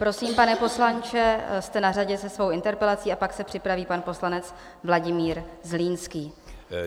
Prosím, pane poslanče, jste na řadě se svou interpelací, a pak se připraví pan poslanec Vladimír Zlínský.